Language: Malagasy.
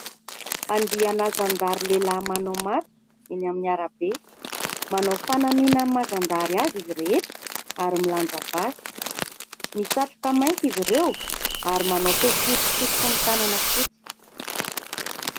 andianazandary lehilahy manao matso eny amin'nyara-be manao fanamiana ay mazandary azy izy rehetra ary milanjabaasy misatroka mainty izy ireo ary manao fekipy sy fonontanana fotsy